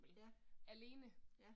Ja. Ja